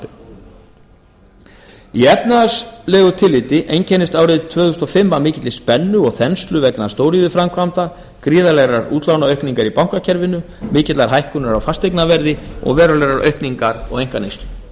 frumvarpinu í efnahagslegu tilliti einkennist árið tvö þúsund og fimm af mikilli spennu og þenslu vegna stóriðjuframkvæmda gríðarlegrar útlánaaukningar í bankakerfinu mikillar hækkunar á fasteignaverði og verulegrar aukningar á einkaneyslu allt